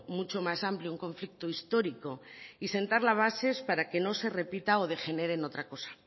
mucho más amplio un conflicto histórico y sentar las bases para que no se repita o degenere en otra cosa